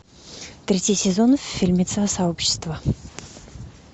третий сезон фильмеца сообщество